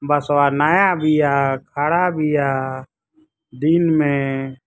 बसवा नया बिया। खड़ा बिया दिन मे।